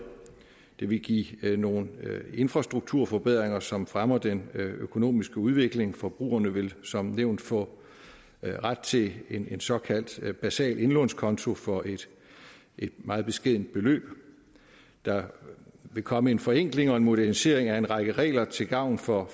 det vil give nogle infrastrukturforbedringer som fremmer den økonomiske udvikling forbrugerne vil som nævnt få ret til en såkaldt basal indlånskonto for et meget beskedent beløb der vil komme en forenkling og en modernisering af en række regler til gavn for